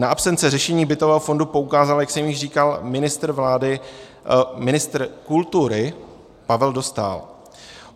Na absenci řešení bytového fondu poukázal, jak jsem již říkal, ministr kultury Pavel Dostál.